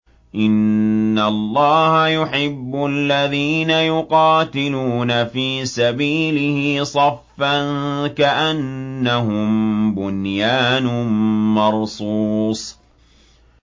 إِنَّ اللَّهَ يُحِبُّ الَّذِينَ يُقَاتِلُونَ فِي سَبِيلِهِ صَفًّا كَأَنَّهُم بُنْيَانٌ مَّرْصُوصٌ